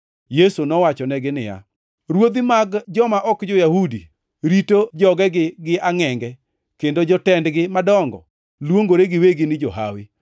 Yesu nowachonegi niya, “Ruodhi mag joma ok jo-Yahudi rito jogegi gi angʼenge kendo jotendgi madongo luongore giwegi ni johawi.